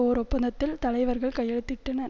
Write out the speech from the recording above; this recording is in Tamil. ஓர் ஒப்பந்தத்தில் தலைவர்கள் கையெழுத்திட்டனர்